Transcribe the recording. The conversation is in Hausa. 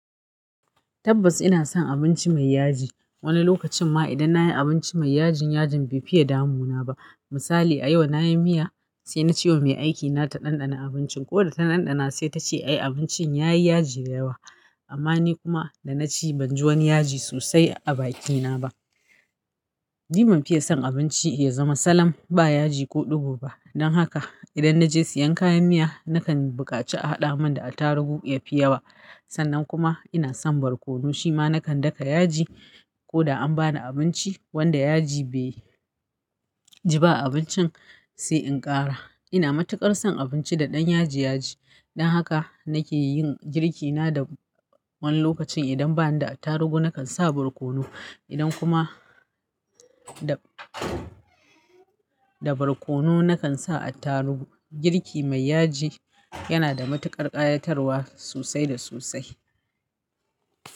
Tabbas ina son abinci mai yaji. Wani lokacin ma idan nayi abinci mai yaji, yajin bai fiye damuna ba. Misali a yau nayi miya sai nace yau mai aikina ta ɗanɗana abincin. Koda ta ɗanɗana sai ta ce ai abincin ya yi yaji da yawa. Amma ni kuma da naci ban ji wani yaji sosai a bakina ba. Ni ban fiye son abinci ya zama sallam ba yaji ko ɗigo ba. Don haka idan naje siyan kayan miya nakan bukaci a haɗa min da attarugu ya fiye yawa. Sannan kuma ina son barkono shima nakan daka yaji ko da an bani abinci wanda yaji bai ji ba a abincin sai in ƙara. Ina matuƙar son abinci da ɗan yaji yaji. Don haka nake yin girki na da wani lokacin idan ba dan da attarugu nakan sa barkono. Idan kuma da barkono nakan sa attarugu. Girki mai yaji yana da matuƙar ƙayatarwa sosai da sosai.